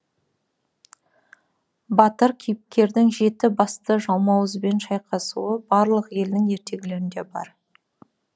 батыр кейіпкердің жеті басты жалмауызбен шайқасуы барлық елдің ертегілерінде бар